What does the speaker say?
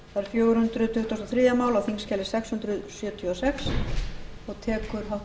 virðulegi forseti ég hef leyft mér að